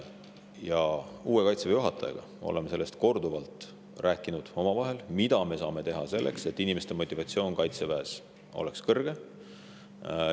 Oleme uue Kaitseväe juhatajaga omavahel korduvalt rääkinud, mida me saame teha selleks, et inimeste motivatsioon Kaitseväes oleks kõrge.